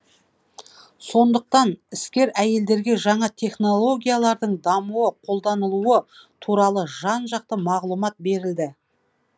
сондықтан іскер әйелдерге жаңа технологиялардың дамуы қолданылуы туралы жан жақты мағлұмат берілді